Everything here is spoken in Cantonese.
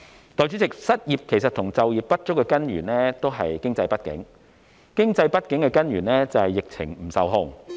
代理主席，失業和就業不足的根源是經濟不景，經濟不景的根源是疫情不受控。